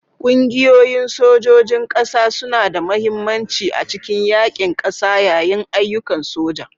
Ƙungiyoyin sojojin ƙasa suna da mahimmanci a cikin yaƙin ƙasa yayin ayyukan soja.